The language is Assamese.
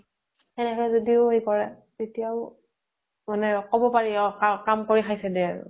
সেনেকে যদিও সেই কৰে, তেতিয়া ও, কʼব পাৰি, অʼ কাম কৰি খাইছে দে আৰু ।